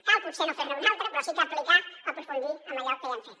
cal potser no fer ne una altra però sí que aplicar o aprofundir en allò que ja hem fet